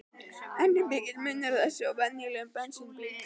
En er mikill munur á þessum og venjulegum bensínbíl?